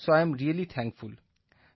so I am really thankful